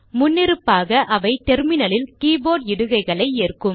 முன்னிருப்பாக அவை டெர்மினலில் கீபோர்ட் இடுகைகளை ஏற்கும்